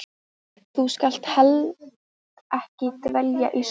Þú skalt heldur ekki dvelja í sorginni.